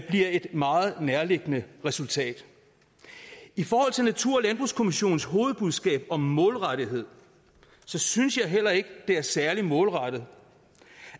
et meget nærliggende resultat i forhold til natur og landbrugskommissionens hovedbudskab om målrettethed synes jeg heller ikke at det er særlig målrettet